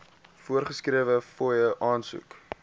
voorgeskrewe fooie aansoek